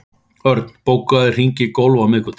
Örn, bókaðu hring í golf á miðvikudaginn.